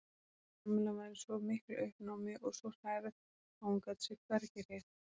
Kamilla var í svo miklu uppnámi og svo hrærð að hún gat sig hvergi hreyft.